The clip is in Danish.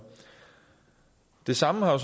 det samme har